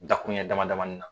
Dakuruɲɛ damadamani na